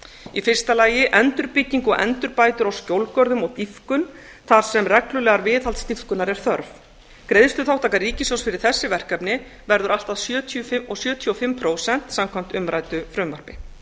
í fyrsta lagi endurbygging og endurbætur á skjólgörðum og dýpkun þar sem reglulegrar viðhaldsdýpkunar er þörf greiðsluþátttaka ríkissjóðs fyrir þessi verkefni verður allt að sjötíu og fimm prósent samkvæmt umræddu frumvarpi